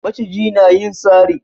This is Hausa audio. Maciji na yin sari